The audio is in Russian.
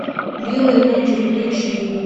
белые ночи включи